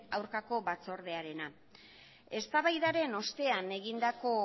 aurkako batzordearena eztabaidaren ostean egindako